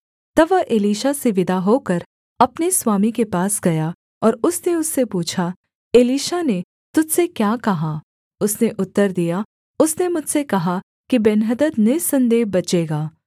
तब वह एलीशा से विदा होकर अपने स्वामी के पास गया और उसने उससे पूछा एलीशा ने तुझ से क्या कहा उसने उत्तर दिया उसने मुझसे कहा कि बेन्हदद निःसन्देह बचेगा